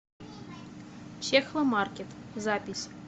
чехломаркет запись